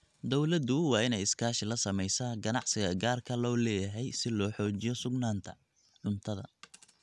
Dawladdu waa inay iskaashi la samaysaa ganacsiga gaarka loo leeyahay si loo xoojiyo sugnaanta cuntada.